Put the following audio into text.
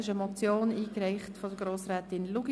Diese Motion wurde von Grossrätin Luginbühl eingereicht.